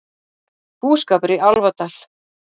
Búskapur í Álfadal